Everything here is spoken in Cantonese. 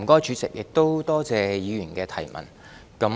主席，多謝議員的補充質詢。